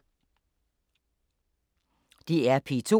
DR P2